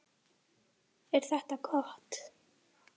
Erla Björg: Er þetta gott?